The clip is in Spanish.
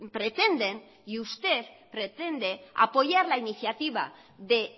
pretenden y usted pretende apoyar la iniciativa de